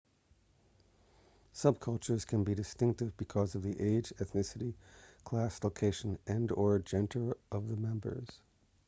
subcultures can be distinctive because of the age ethnicity class location and/or gender of the members